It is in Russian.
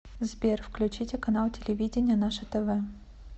сбер включите канал телевидения наше тв